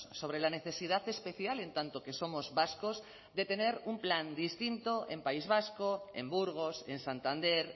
sobre la necesidad especial en tanto que somos vascos de tener un plan distinto en país vasco en burgos en santander